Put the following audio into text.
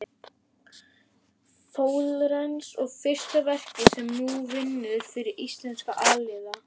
Flórens og fyrsta verkið sem hún vinnur fyrir íslenska aðila.